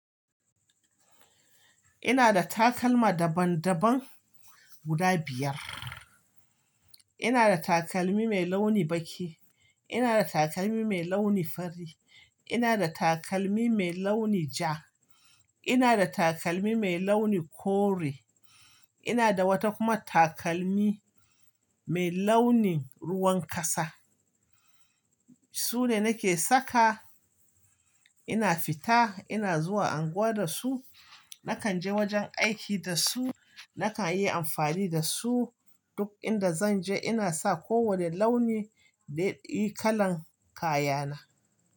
Ina da takalma daban-daban guda biyar. Ina da takalmi mai launi baƙi, ina da takalmi mai launi fari, ina da takalmi mai launi ja, ina da takalmi mai launi kore, ina da wata kuma takalmi mai launin ruwan ƙasa. Su ne nake saka ina fita, ina zuwa unguwa da su, nakan je wajen aiki da su, nakan yi amfani da su duk inda zan je. Ina sa kowane launi da yi kalan kayana.